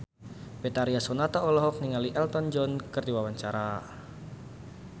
Betharia Sonata olohok ningali Elton John keur diwawancara